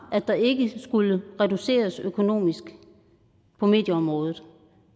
at der ikke skulle reduceres økonomisk på medieområdet